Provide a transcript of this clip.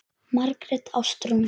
Margrét Ástrún.